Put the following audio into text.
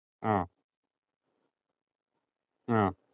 ആഹ് ആഹ് ആഹ്